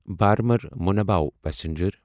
Burma منابعو passenger